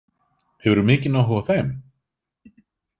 Hefurðu mikinn áhuga á þeim?